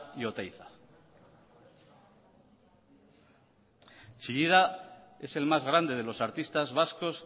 y oteiza chillida es el más grande de los artistas vascos